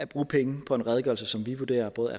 bruge penge på en redegørelse som vi vurderer både